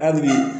Hali bi